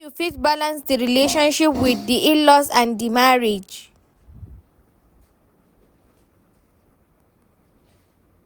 how you fit balance di relationship with di in-laws and di marriage?